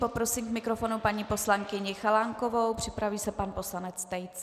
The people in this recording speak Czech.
Poprosím k mikrofonu paní poslankyni Chalánkovou, připraví se pan poslanec Tejc.